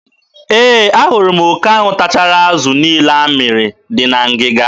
E, a hụrụ m oke ahụ tachara azụ niile a mmịrị dị na ngịga.